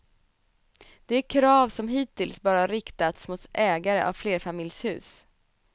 Det är krav som hittills bara riktats mot ägare av flerfamiljshus.